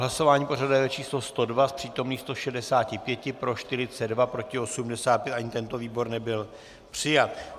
Hlasování pořadové číslo 102, z přítomných 165 pro 42, proti 85, ani tento výbor nebyl přijat.